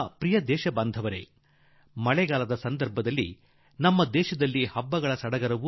ನನ್ನೊಲವಿನ ದೇಶವಾಸಿಗಳೇ ಮಳೆಗಾಲದ ಜೊತೆಯಲ್ಲೇ ನಮ್ಮ ದೇಶದಲ್ಲಿ ಹಬ್ಬಗಳ ಸಮಯ